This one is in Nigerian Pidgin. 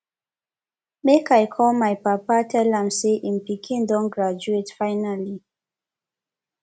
make i call my papa tell am say him pikin don graduate finally